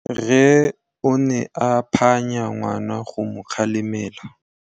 Rre o ne a phanya ngwana go mo galemela.